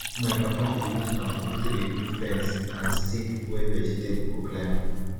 my papa dey use bamboo tree do fence and stick wey vegetable go climb